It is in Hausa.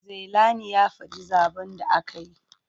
Zailani ya faɗi zaɓen da aka yi.